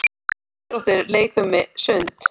Íþróttir- leikfimi- sund